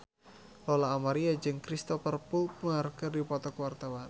Lola Amaria jeung Cristhoper Plumer keur dipoto ku wartawan